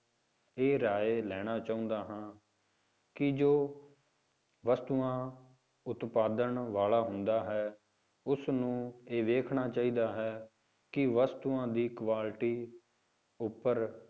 ਇਹ ਰਾਏ ਲੈਣਾ ਚਾਹੁੰਦਾ ਹਾਂ ਕਿ ਜੋ ਵਸਤੂਆਂ ਉਤਪਾਦਨ ਵਾਲਾ ਹੁੰਦਾ ਹੈ ਉਸਨੂੰ ਇਹ ਵੇਖਣਾ ਚਾਹੀਦਾ ਹੈ ਕਿ ਵਸਤੂਆਂ ਦੀ quality ਉੱਪਰ